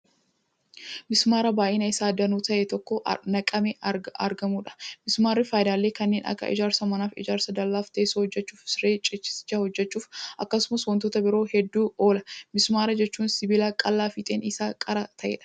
Mismaara baay'inni Isaa danuu ta'e iddoo tokkotti naqamee argamuudha. mismaarri faayidaalee kanneen Akka ijaarsa manaaf, ijaarsa dallaaf, teessoo hojjachuuf, siree ciisichaa hojjachuuf akkasumas wantoota biroo hedduuf oola. mismaar jechuu sibiila qal'aa fiixeen Isaa qara ta'eedha.